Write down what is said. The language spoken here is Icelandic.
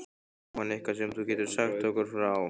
Jóhann: Eitthvað sem þú getur sagt okkur frá?